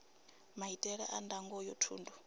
maitele a ndango ya thundu